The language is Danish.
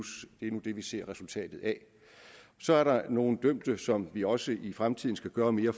ser resultatet af så er der nogle dømte som vi også i fremtiden skal gøre mere